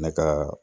Ne ka